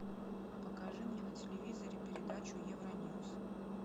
покажи мне на телевизоре передачу евроньюс